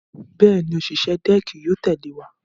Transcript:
Bẹ́ẹ̀ni, òṣìṣẹ́ dẹ́ẹ̀kì yóò tẹ̀lé wa.